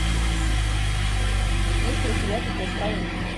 есть ли у тебя как я стал русским